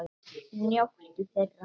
Njóttu þeirra!